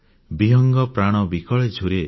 ବିହଙ୍ଗ ପ୍ରାଣ ବିକଳେ ଝୁରେ